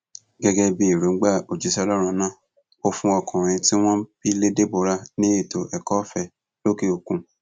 gẹgẹ bí èròǹgbà òjíṣẹ ọlọrun náà ò fún ọmọkùnrin tí wọn bí lé deborah ní ètò ẹkọọfẹ lókè òkun